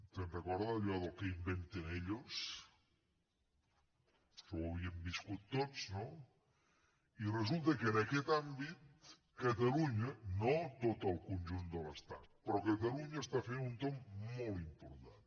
se’n recorda d’allò del que inventen ellos això ho havíem viscut tots no i resulta que en aquest àmbit catalunya no tot el conjunt de l’estat però catalunya està fent un tomb molt important